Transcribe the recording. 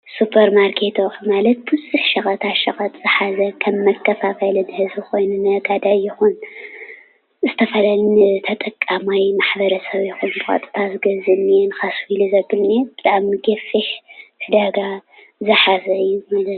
ስፖርማኬታት ማለት ብዙሕ ሸቀጣሸቐጥ ዝሓዘ ከም መከፋፈሊ ዝሓዘ ነጋዳይ ይኹን ዝተፈላለየ ተጠቃማይ ማሕበረሰብ ከም ሰላጣ ዝገዝእ እነሄ ብጣዕሚ ገፊሕ ዒዳጋ ዝሓዘ እዩ፡፡